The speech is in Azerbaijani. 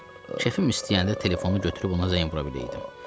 Kefim istəyəndə telefonu götürüb ona zəng vura biləydim.